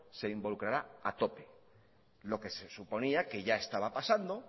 se involucrará a tope lo que suponía que ya estaba pasando